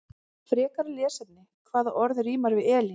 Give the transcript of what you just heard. Frekara lesefni: Hvaða orð rímar við Elín?